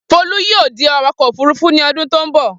Folú yóò di awakọ̀ òfurufú ní ọdún tó ń bọ̀.